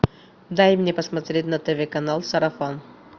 дай мне посмотреть на тв канал сарафан